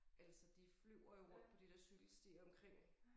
Eller så de flyver jo rundt på de der cykelstier omkring